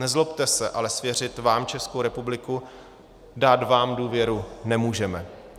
Nezlobte se, ale svěřit vám Českou republiku, dát vám důvěru, nemůžeme.